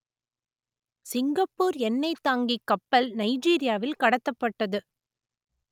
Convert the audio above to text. Singapore எண்ணெய்த் தாங்கிக் கப்பல் நைஜீரியாவில் கடத்தப்பட்டது